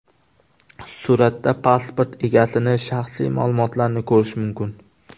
Suratda pasport egasining shaxsiy ma’lumotlarini ko‘rish mumkin.